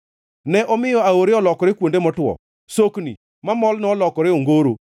Ne omiyo aore olokore kuonde motwo, sokni mamol nolokore ongoro,